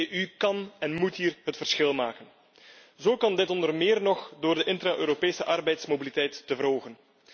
De EU kan en moet hier het verschil maken. Dit kan onder meer door de intra Europese arbeidsmobiliteit te verhogen.